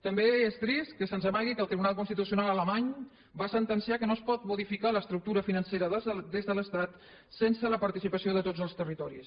també és trist que se’ns amagui que el tribunal constitucional alemany va sentenciar que no es pot modificar l’estructura financera des de l’estat sense la participació de tots els territoris